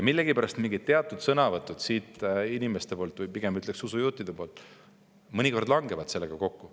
Millegipärast siinsete inimeste, või pigem ütleksin, usujuhtide mingid sõnavõtud mõnikord langevad sellega kokku.